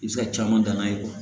I bɛ se ka caman dan n'a ye